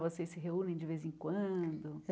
Vocês se reúnem de vez em quando?